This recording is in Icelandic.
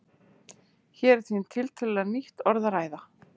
Hér er því um tiltölulega nýtt orð að ræða.